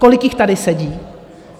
Kolik jich tady sedí?